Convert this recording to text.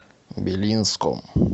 белинском